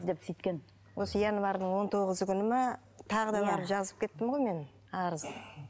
деп сөйткен осы январдың он тоғызы күні ма тағы да барып жазып кеттім ғой мен арызды